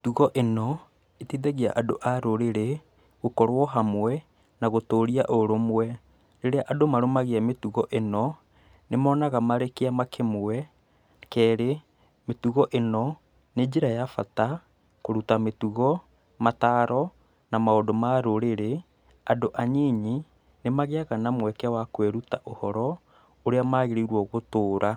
Mĩtugo ĩno ĩteithagia andũ a rũrĩrĩ gũkorwo hamwe na gũtũria ũrũmwe. Rĩrĩa andũ marũmagia mĩtugo ĩno, nĩmonaga marĩ kĩama kĩmwe, kerĩ, mĩtugo ĩno nĩ njĩra ya bata kũruta mĩtugo, mataaro na maũndũ ma rũrĩrĩ, andũ anyinyi nĩ magĩaga na mweke wa kwĩruta ũhoro ũrĩa magĩrĩirwo gũtũũra.